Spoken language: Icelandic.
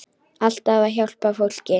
Alltaf að hjálpa fólki.